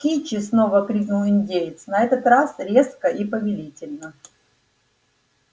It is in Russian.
кичи снова крикнул индеец на этот раз резко и повелительно